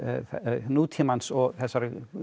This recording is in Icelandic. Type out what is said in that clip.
nútímans og þessarar